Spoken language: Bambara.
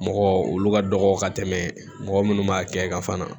Mɔgɔ olu ka dɔgɔn ka tɛmɛ mɔgɔ munnu b'a kɛ kan